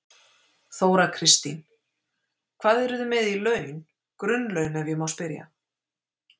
Þóra Kristín: Hvað eru þið með í laun, grunnlaun ef ég má spyrja?